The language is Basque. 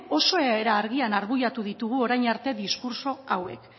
oso era argian argudiatu ditugu orain arte diskurtso hauek